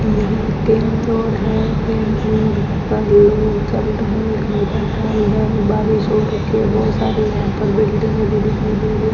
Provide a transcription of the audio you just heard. बारिश हो रखी है बहुत सारी बिल्डिंग भी दिखाई दे रही है।